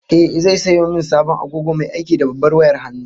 Ehh, zai sayo min sabon agogo mai aiki da babbar wayar hannu